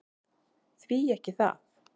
Því ekki það!